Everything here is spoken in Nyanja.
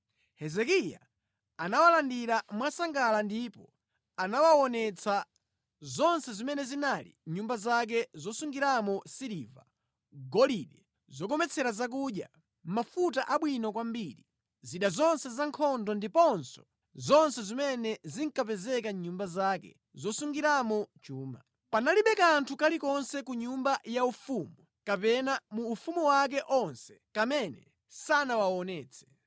Hezekiya anawalandira mwasangala ndipo anawaonetsa zonse zimene zinali mʼnyumba zake zosungiramo siliva, golide, zokometsera zakudya, mafuta abwino kwambiri, zida zonse zankhondo ndiponso zonse zimene zinkapezeka mʼnyumba zake zosungiramo chuma. Panalibe kanthu kalikonse ka mʼnyumba yaufumu kapena mu ufumu wake onse kamene sanawaonetse.